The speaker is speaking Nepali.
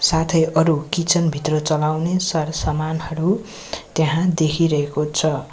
साथै अरु किचन भित्र चलाउने सरसामानहरू त्यहाँ देखिरहेको छ।